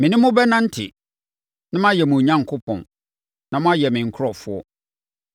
Me ne mo bɛnante, na mayɛ mo Onyankopɔn, na moayɛ me nkurɔfoɔ.